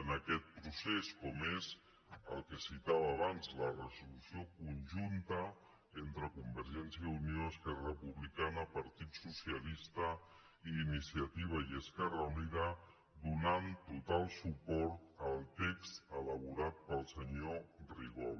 en aquest procés com és el que citava abans la resolució conjunta entre convergència i unió esquerra repu·blicana partit socialista i iniciativa i esquerra unida donant total suport al text elaborat pel senyor rigol